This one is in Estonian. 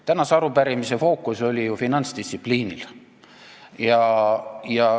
Tänase arupärimise fookus oli ju finantsdistsipliinil.